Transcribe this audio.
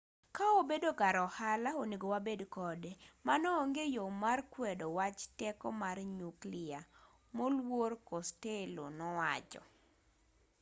ka obedo kar ohala onego wabed kode mano onge yo mar kwedo wach teko mar nyukliya moluor costello nowacho